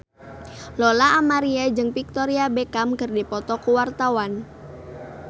Lola Amaria jeung Victoria Beckham keur dipoto ku wartawan